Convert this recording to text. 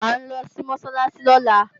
À ń lọ sí Mọ́sálásí lọ́la